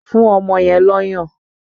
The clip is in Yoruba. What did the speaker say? Fún ọmọ yẹn lọ́yàn!